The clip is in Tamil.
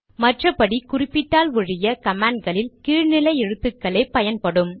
மற்றபடி குறிப்பிட்டால் ஒழிய கமாண்ட்களில் கீழ் நிலை எழுத்துக்களே பயன்படும்